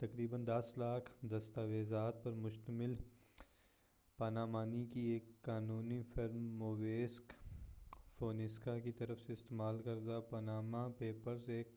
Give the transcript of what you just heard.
تقریبا دس لاکھ دستاویزات پر مشتمل پانامانی کی ایک قانونی فرم موسیک فونسیکا کی طرف سے استعمال کردہ پاناما پیپرز ایک